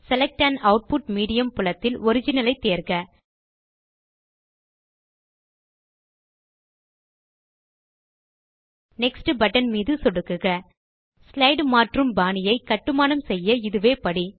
select an output medium புலத்தில் original ஐ தேர்க நெக்ஸ்ட் பட்டன் மீது சொடுக்குக ஸ்லைடு மாற்றும் பாணியை கட்டுமானம் செய்ய இதுவே படி